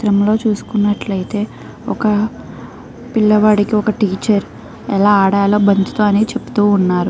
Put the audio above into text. చిత్రం లో చూసుకున్నట్లైతే ఒక పిల్ల వాడికి ఒక టీచర్ ఎలా ఆడాలో బంతి తో అని చెప్తూ ఉన్నారు.